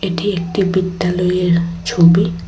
এটি একটি বিদ্যালয়ের ছবি।